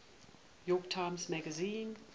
york times magazine